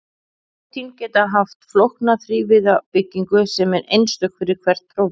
prótín geta haft flókna þrívíða byggingu sem er einstök fyrir hvert prótín